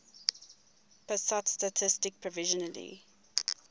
pusat statistik provisionally